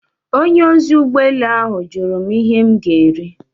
Onye ozi ụgbọ elu ahụ jụrụ m ihe m ga-eri.